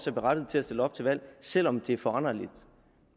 er berettiget til at stille op til valg selv om det er foranderligt